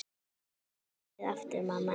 Syngdu lagið aftur, mamma